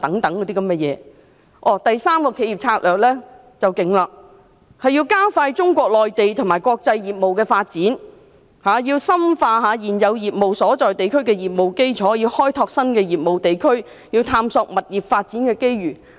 第三個企業策略最厲害，便是加快中國內地及國際業務的發展，要深化現有業務所在地區的業務基礎，要開拓新的業務地區，要探索物業發展的機遇。